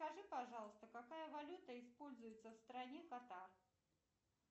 скажи пожалуйста какая валюта используется в стране катар